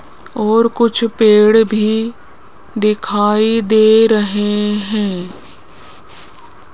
और कुछ पेड़ भी दिखाई दे रहे हैं।